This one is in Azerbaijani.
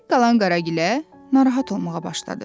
Tək qalan Qaragilə narahat olmağa başladı.